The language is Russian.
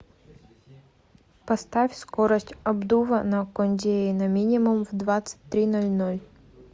поставь скорость обдува на кондее на минимум в двадцать три ноль ноль